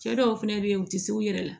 Cɛ dɔw fɛnɛ be yen u ti s'u yɛrɛ la